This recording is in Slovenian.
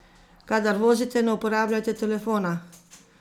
Kadar vozite, ne uporabljajte telefona!